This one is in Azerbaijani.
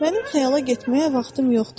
Mənim xəyala getməyə vaxtım yoxdur.